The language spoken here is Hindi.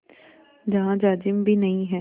जहाँ जाजिम भी नहीं है